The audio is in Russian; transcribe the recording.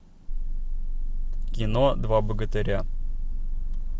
кино два богатыря